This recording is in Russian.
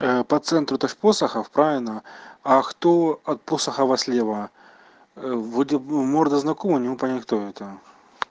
по центру это же посохов правильно а кто от посохова слева вроде бы морда знакомая не могу понять кто это